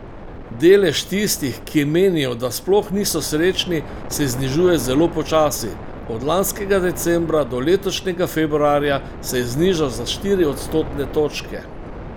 Delež tistih, ki menijo, da sploh niso srečni, se znižuje zelo počasi, od lanskega decembra do letošnjega februarja se je znižal za štiri odstotne točke.